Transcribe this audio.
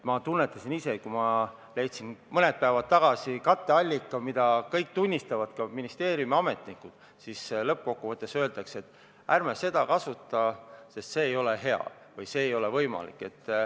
Ma tundsin seda ise, kui ma leidsin mõni päev tagasi katteallika, mille kõik tunnistasid sobivaks, ka ministeeriumi ametnikud, aga lõppkokkuvõttes öeldi, et ärme seda kasutame, sest see ei ole hea või see ei ole võimalik.